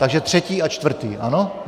Takže třetí a čtvrtý, ano?